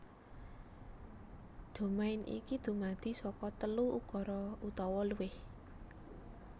Domain iki dumadi saka telu ukara utawa luwih